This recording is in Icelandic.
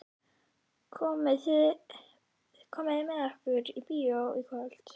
Komið þið með okkur í bíó í kvöld?